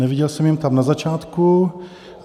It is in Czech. Neviděl jsem je tam na začátku.